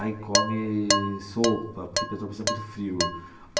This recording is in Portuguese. Aí come sopa, porque Petrópolis é muito frio.